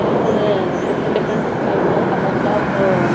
There is a different different types of colors of--